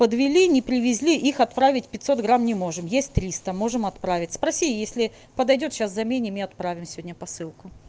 подвели не привезли их отправить пятьсот грамм не можем есть триста можем отправить спроси если подойдёт сейчас заменим и отправим сегодня посылку